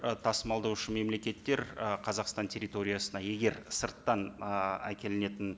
ы тасымалдаушы мемлекеттер ы қазақстан территориясына егер сырттан ы әкелінетін